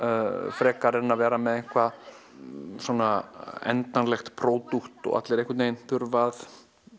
frekar en að vera með eitthvað endanlegt pródúkt og allir þurfa að